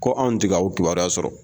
Ko anw ti k'aw kibaruya sɔrɔ